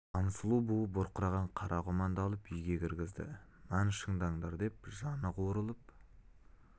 хансұлу буы бұрқыраған қара құманды алып үйге кіргізді нан шыдаңдар деп жаны қуырылып